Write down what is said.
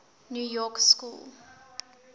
new york school